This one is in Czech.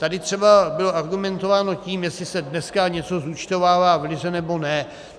Tady třeba bylo argumentováno tím, jestli se dneska něco zúčtovává v liře, nebo ne.